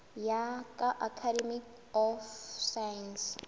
ya ka academy of science